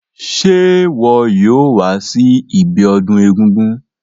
Se wo yóò wa si ibiodún egúngún